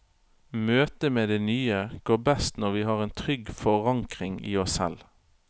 Møtet med det nye går best når vi har en trygg forankring i oss selv.